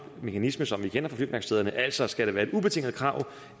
mekanisme som vi kender fra flyværkstederne altså skal være et ubetinget krav